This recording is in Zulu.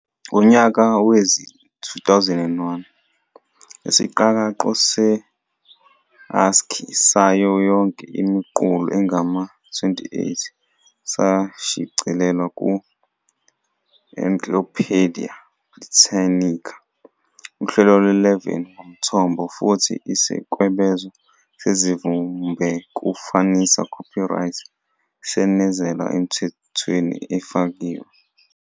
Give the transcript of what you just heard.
Ngonyaka wezi-2001, isiqakaqo se-ASCII sayo yonke imiqulu engama- 28 sashicilelwa ku-"Encyclopaedia Britannica" uhlelo lwe-11 ngomthombo, futhi isikwebezo sesivimbekufanisa "copyright" senezelwa emthakweni efakiwe.